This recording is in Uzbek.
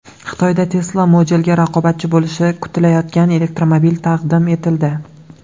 Xitoyda Tesla Model’ga raqobatchi bo‘lishi kutilayotgan elektromobil taqdim etildi .